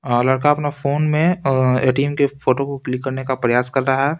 अ लड़का अपना फोन मेंअ ए_टी_एम के फोटो को क्लिक करने का प्रयास कर रहा है।